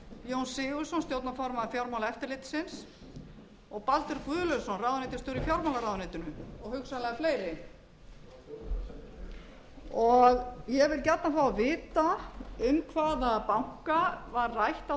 jón sigurðsson stjórnarformaður fjármálaeftirlitsins og baldur guðlaugsson ráðuneytisstjóri í fjármálaráðuneytinu og hugsanlega fleiri ég vil gjarnan fá að vita um hvaða banka var rætt á